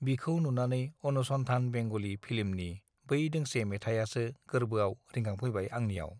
बिखौ नुनानै अनुसन्धान बेंगली फिल्मनि बै दोंसे मेथाइआसो गोरबोआव रिखांफैबाय आंनिआव